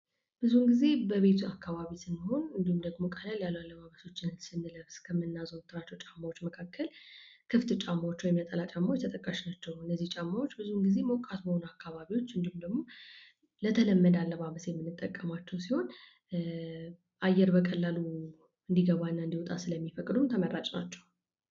ብዙ ጊዜ በቤት አካባቢ ሲኖን እንደውም ደግሞ ቀለል ያለ ልብሶችን ስንለብስ ከምናዘውትራቸው ጫማዎች መካከል ክፍት ጫማዎች ወይም ነጠላ ጫማዎች ተጠቃሽ ናቸው። እነዚህ ጫማዎች ብዙ ጊዜ ሞቃት በሆነ አካባቢዎች እንዲሁም ደግሞ ሞቃት በሆነ አካባቢ የተለመዱ ናቸው። አየር በቀላሉ እንደወጣና አንድገባ ስለሚፈቅዱ ተመራጭ ናቸው።